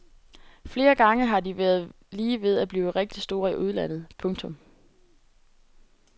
Flere gange har de været lige ved at blive rigtig store i udlandet. punktum